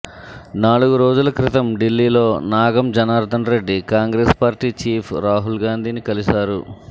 నాలుగు రోజుల క్రితం ఢిల్లీలో నాగం జనార్దన్ రెడ్డి కాంగ్రెస్ పార్టీ చీఫ్ రాహుల్గాంధీని కలిశారు